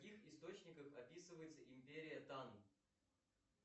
в каких источниках описывается империя тан